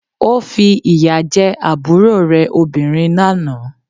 Ó fi ìyà jẹ àbúrò rẹ̀ obìnrin lánàá